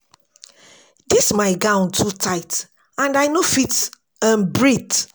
Dis my gown too tight and I no fit um breath